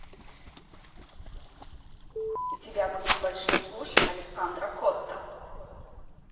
у тебя будет большой куш александра котта